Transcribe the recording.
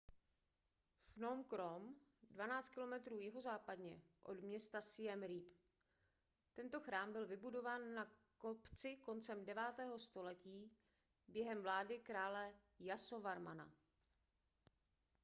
phnom krom 12 km jihozápadně od města siem reap tento chrám byl vybudován na kopci koncem 9. století během vlády krále jasovarmana